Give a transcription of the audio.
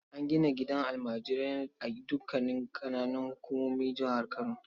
An gina gidan almajirai a dukanin ƙananan hukumomin jihar Kano.